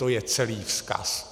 To je celý vzkaz.